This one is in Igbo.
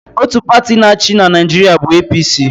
Otu pati na-achị na Naịjirịa bụ APC.